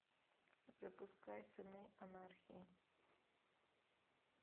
запускай сыны анархии